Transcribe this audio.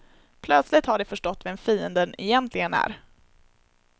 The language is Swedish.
Plötsligt har de förstått vem fienden egentligen är.